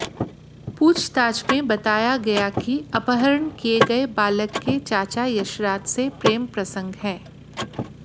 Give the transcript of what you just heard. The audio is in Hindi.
पूछताछ में बताया कि अपहरण किए गए बालक के चाचा यशराज से प्रेम प्रसंग है